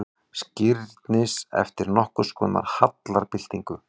Skírnis eftir nokkurskonar hallarbyltingu.